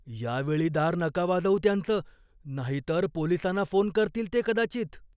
या वेळी दार नका वाजवू त्यांचं. नाहीतर पोलिसांना फोन करतील ते कदाचित.